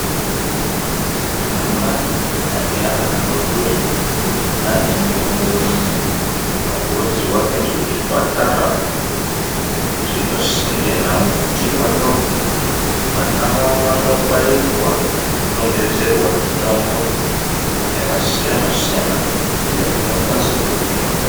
Anamai aneana adodori neanendumure anokurudzirwa kuenda kuzvipatara zviripa sinde nawo kuti vando vana vavo vando bairwa vanodondedzerwa mitombo yakasiyana siyana iyo inokwanise kuhine.